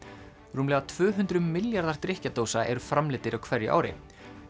rúmlega tvö hundruð milljarðar eru framleiddir á hverju ári